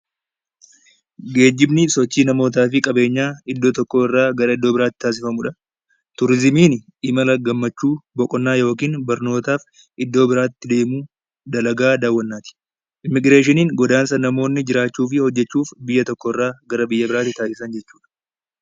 Geejjibni sochii namootaa fi qabeenyaa iddoo tokkorraa gara iddoo biraatti taasifamudha. Turizimiin imala gammachuu, boqonnaa yookiin barnootaaf iddoo biraatti deemuu dalagaa daawwannaati. Immiigireeshiniin go godaansa namoonni jiraachuu fi hojjachuuf biyya tokkorraa gara biyya biraatti taasisan jechuudha